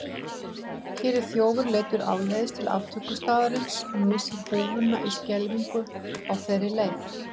Hér er þjófur leiddur áleiðis til aftökustaðarins og missir húfuna í skelfingu á þeirri leið.